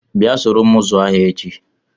Bịa soro m zụọ ahịa echi!